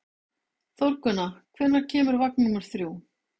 Þórgunna, hvenær kemur vagn númer þrjú?